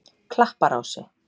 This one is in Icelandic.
Klapparási